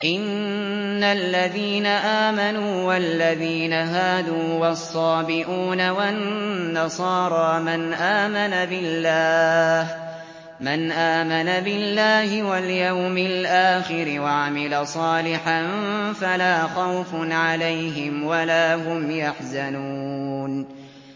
إِنَّ الَّذِينَ آمَنُوا وَالَّذِينَ هَادُوا وَالصَّابِئُونَ وَالنَّصَارَىٰ مَنْ آمَنَ بِاللَّهِ وَالْيَوْمِ الْآخِرِ وَعَمِلَ صَالِحًا فَلَا خَوْفٌ عَلَيْهِمْ وَلَا هُمْ يَحْزَنُونَ